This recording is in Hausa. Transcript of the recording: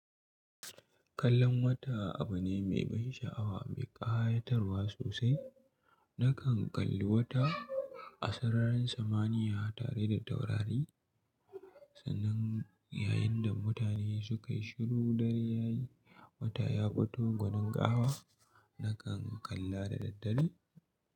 Kallon wata abu ne mai ban sha'awa mai ƙayatarwa sosai. Nakan kalli wata a sararin samaniya tare da taurari. Sannan yayin da mutane suka yi shiru, dare yayi, wata ya fito gwanin ƙawa. Nakan kalla da daddare.